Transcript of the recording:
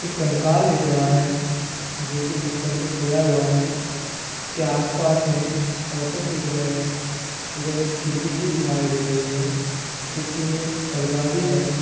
एक कंकाल दिख रहा हे जो की बिस्तर पे सोया हुवा है। इसके आसपास मे औषध दिख रहे है। इधर एक खिड़की भी दिखाई दे रही हे । खिड़की मे परदा भी है।